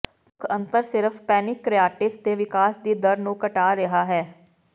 ਮੁੱਖ ਅੰਤਰ ਸਿਰਫ ਪੈਨਿਕਆਟਾਇਿਟਸ ਦੇ ਵਿਕਾਸ ਦੀ ਦਰ ਨੂੰ ਘਟਾ ਰਿਹਾ ਹੈ